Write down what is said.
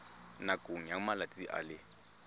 nakong ya malatsi a le